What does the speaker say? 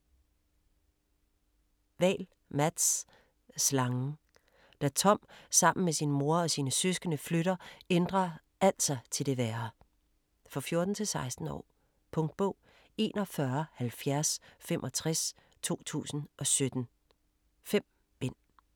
Wahl, Mats: Slangen Da Tom, sammen med sin mor og sine søskende, flytter, ændrer alt sig til det værre. For 14-16 år. Punktbog 417065 2017. 5 bind.